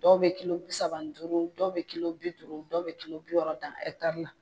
Dɔw bɛ kilo bi saba ni duuru dɔw bɛ kilo bi duuru dɔw bɛ kilo bi wɔɔrɔ dan la.